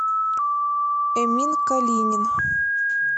эмин калинин